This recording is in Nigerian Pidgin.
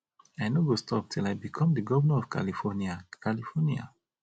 i no go stop till i become the governor of california california